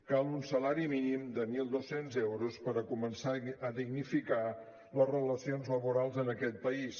cal un salari mínim de mil dos cents euros per començar a dignificar les relacions laborals en aquest país